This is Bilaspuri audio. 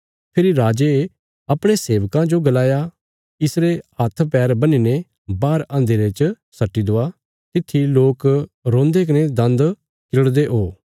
फेरी राजे अपणे सेबकां जो गलाया इसरे हात्थपैर बन्हीने बाहर अन्धेरे च सट्टि दवा तित्थी लोक रोन्दे कने दन्द किरड़दे हो